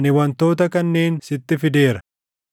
ani wantoota kanneen sitti fideera.